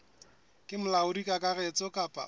ke molaodi kakaretso kapa o